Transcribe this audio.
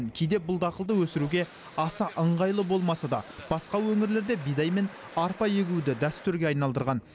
кейде бұл дақылды өсіруге аса ыңғайлы болмаса да басқа өңірлерде бидай мен арпа егуді дәстүрге айналдырған